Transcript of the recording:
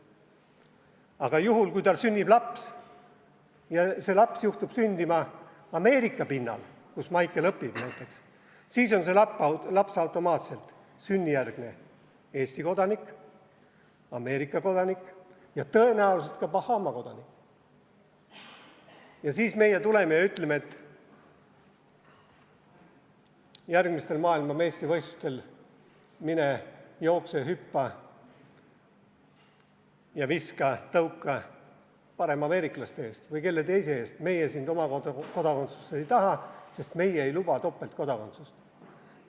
Aga juhul, kui tal sünnib laps ja see laps juhtub sündima Ameerika pinnal, kus Maicel õpib, siis on see laps automaatselt sünnijärgne Eesti kodanik, Ameerika kodanik ja tõenäoliselt ka Bahama kodanik ja siis meie tuleme ja ütleme, et järgmistel maailmameistrivõistlustel mine jookse, hüppa, viska ja tõuka parem ameeriklaste eest või kellegi teise eest, meie sind oma kodakondsusesse ei taha, sest meie ei luba topeltkodakondsust.